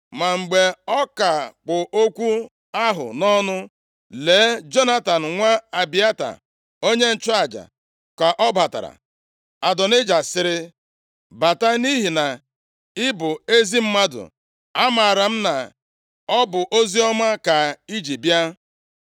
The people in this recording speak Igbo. Ma mgbe ọ ka kpụ okwu ahụ nʼọnụ, lee Jonatan nwa Abịata onye nchụaja, ka ọ batara. Adonaịja sịrị, “Bata! Nʼihi na ị bụ ezi mmadụ amaara m na ọ bụ oziọma ka i ji bịa.”